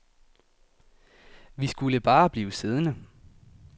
Vi skulle bare blive siddende.